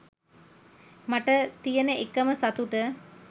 මට තියන එකම සතුට